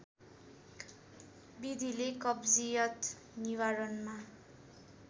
विधिले कब्जियत निवारणमा